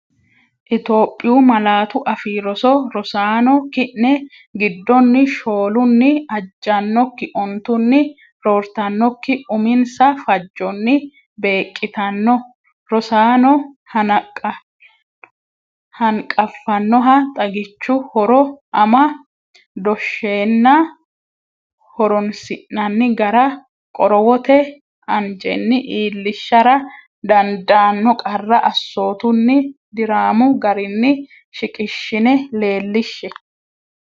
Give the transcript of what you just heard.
Itophiyu Malaatu Afii Roso Rosaano, ki’ne giddonni shoolunni ajjannokki, ontunni roortannokki uminsa fajjonni beeqqitanno rosaano hanqafannoha xagichu horo, ama- dooshshenna horoonsi’anni gara, qorowote anjenni iillishara dandaanno qarra assootunni diraamu garinni shiqishshine leellishshe.